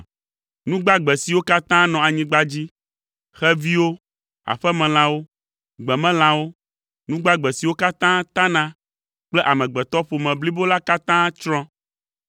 Nu gbagbe siwo katã nɔ anyigba dzi, xeviwo, aƒemelãwo, gbemelãwo, nu gbagbe siwo katã tana kple amegbetɔƒome blibo la katã tsrɔ̃.